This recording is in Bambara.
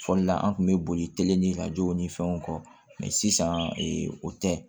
Fɔli la an tun bɛ boli ni ka jɔw ni fɛnw kɔ sisan o tɛ